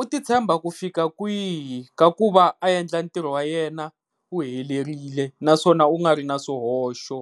u ti tshemba ku fika kwihi ka ku va a endla ntirho wa yena u helerile naswona u nga ri na swihoxo.